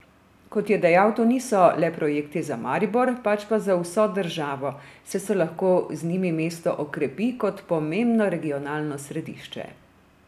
Kot je dejal, to niso le projekti za Maribor, pač pa za vso državo, saj se lahko z njimi mesto okrepi kot pomembno regionalno središče.